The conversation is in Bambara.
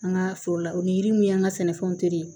An ka foro la o ni yiri min y'an ka sɛnɛfɛnw tere